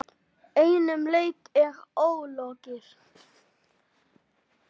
Einum leik er ólokið.